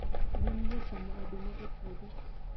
Gwen jachamo oduma e puodho